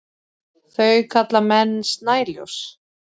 Þau kalla menn snæljós.